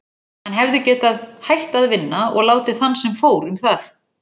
Hann hefði getað hætt að vinna og látið þann sem fór um það.